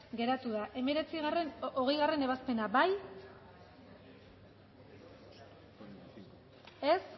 geratu da hogeigarrena ebazpena bozkatu dezakegu